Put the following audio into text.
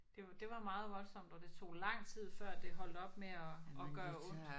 Det det var meget voldsomt og det tog lang tid før det holdt op med at at gøre ondt